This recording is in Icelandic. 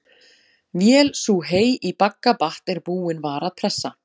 Vél sú hey í bagga batt er búin var að pressa.